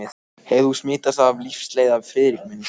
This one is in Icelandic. Hefur þú smitast af lífsleiða, Friðrik minn?